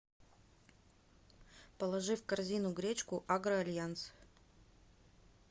положи в корзину гречку агро альянс